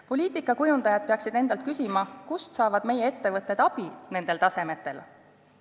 Poliitikakujundajad peaksid endalt küsima, kust saavad meie ettevõtted nendel tasemetel abi.